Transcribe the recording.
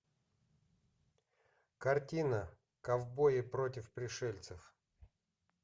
картина ковбои против пришельцев